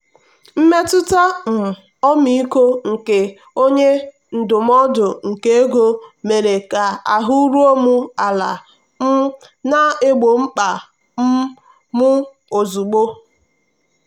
mmetụta um ọmịiko nke onye ndụmọdụ nke ego mere ka ahụ́ ruo m ala um na-egbo mkpa um m ozugbo.